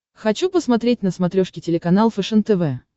хочу посмотреть на смотрешке телеканал фэшен тв